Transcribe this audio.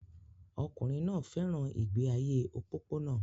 Ọkùnrin náà fẹ́ràn ìgbé ayé òpópónà